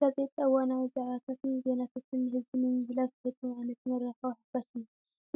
ጋዜጣ እዋናዊ ዛዕባታትን ዜናታትን ንህዝቢ ንምምሕልላፍ ዝጠቅም ዓይነት መራኸቢ ሓፋሽ እዩ፡፡